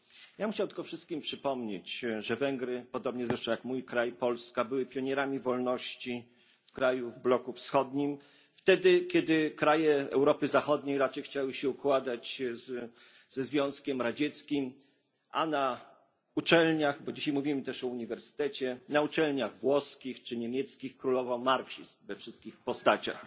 Ja bym chciał tylko wszystkim przypomnieć, że Węgry podobnie zresztą jak mój kraj, Polska były pionierami wolności krajów w bloku wschodnim wtedy, kiedy kraje Europy Zachodniej raczej chciały się układać ze Związkiem Radzieckim, a na uczelniach bo dzisiaj mówimy też o uniwersytecie włoskich czy niemieckich królował marksizm we wszystkich postaciach.